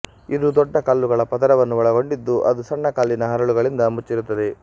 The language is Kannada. ಇದು ದೊಡ್ಡ ಕಲ್ಲುಗಳ ಪದರವನ್ನು ಒಳಗೊಂಡಿದ್ದು ಅದು ಸಣ್ಣ ಕಲ್ಲಿನ ಹರಳುಗಳಿಂದ ಮುಚ್ಚಿರುತ್ತದೆ